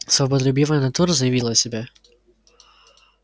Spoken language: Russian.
свободолюбивая натура заявила о себе